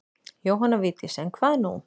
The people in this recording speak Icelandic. Jóhanna Vigdís en hvað nú?